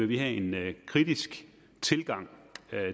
vi have en kritisk tilgang